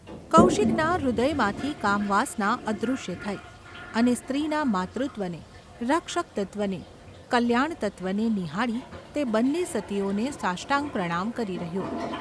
કૌશિકના હૃદયમાંથી કામવાસના અદૃશ્ય થઈ અને સ્ત્રીના માતૃત્વને, રક્ષક તત્ત્વને, ક૯યાણતત્ત્વને નિહાળી તે બન્ને સતીઓને સાષ્ટાંગ પ્રણામ કરી રહ્યો.